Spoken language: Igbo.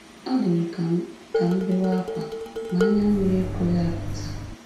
Ọ dị m ka m ka m bewe ákwá, ma anya mmiri ekweghị apụta.